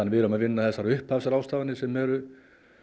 við erum að vinna þessar upphafsráðstafanir sem eru